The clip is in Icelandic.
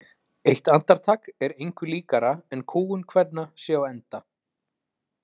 Eitt andartak er engu líkara en kúgun kvenna sé á enda.